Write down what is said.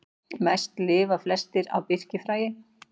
Þeir lifa mest á birkifræi.